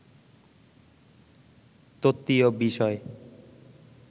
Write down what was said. তত্ত্বীয় বিষয়